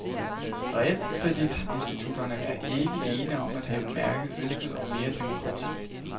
Realkreditinstitutterne er ikke ene om at have mærket ønsker om mere demokrati.